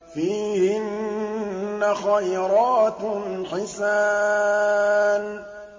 فِيهِنَّ خَيْرَاتٌ حِسَانٌ